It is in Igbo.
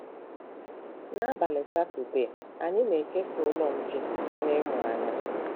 N’abalị Satọdee, anyị na-ekesa Ụlọ Nche na ịmụ anya!